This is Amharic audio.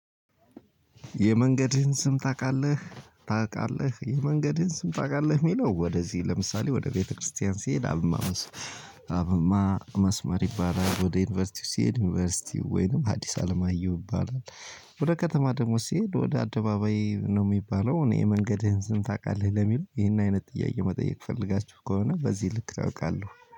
የመንገድህን ስም ታቃለህ? ታቃለህ የመንገድህን ስም ታቃለህ የሚለው ወደዚህ ለምሳሌ ወደ ቤተክርስቲያን ሲሄድ አብማ አብማ መስመር ይባላል ወደ ዩኒቨርሲቲው ሲሄድ ዩኒቨርሲቲው ወይንም ሀዲስ አለማየሁ ይባላል። ወደ ከተማ ደግሞ ሲሄድ ወደ አደባባይ ነው የሚባለው። እኔ የመንገድህን ስም ታቃለህ ለሚል ይህን አይነት ጥያቄ መጠየቅ ፈልጋችሁ ከሆነ በዚህ ልክ አውቃለሁ